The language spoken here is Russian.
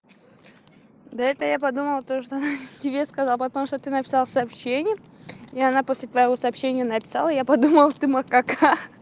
да это я подумал то что тебе сказал потому что ты написал сообщение и она после твоего сообщения написала я подумал ты макака ха-ха